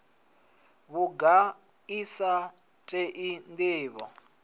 vhunga i sa tei ndivho